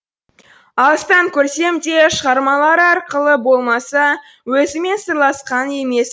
алыстан көрсем де шығармалары арқылы болмаса өзімен сырласқан емеспін